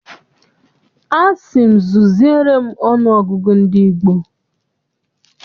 Asị m zuziere m ọnụ ọgụgụ ndị gboo.